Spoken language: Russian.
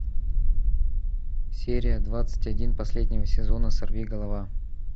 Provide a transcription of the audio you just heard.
серия двадцать один последнего сезона сорвиголова